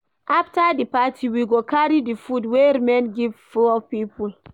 After di party, we go carry di food wey remain give poor people.